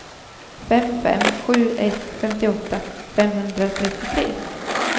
fem fem sju ett femtioåtta femhundratrettiotre